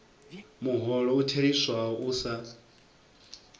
muholo u theliswaho u sa